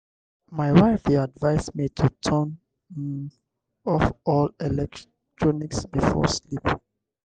my wife dey advise me to turn um off all electronics before sleep.